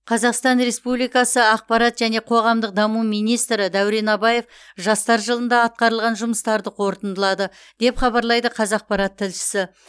қазақстан республикасы ақпарат және қоғамдық даму министрі дәурен абаев жастар жылында атқарылған жұмыстарды қорытындылады деп хабарлайды қазақпарат тілшісі